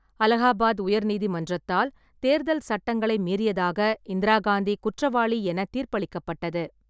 அலகாபாத் உயர் நீதிமன்றத்தால் தேர்தல் சட்டங்களை மீறியதாக இந்திரா காந்தி குற்றவாளி என தீர்ப்பளிக்கப்பட்டது.